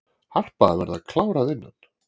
Harpa að verða klár að innan